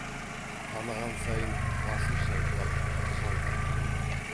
таныған сайын басын шайқап қыжалданып қояды